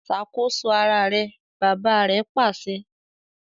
Ṣakoso àrà rẹ! bàbà rè pàṣẹ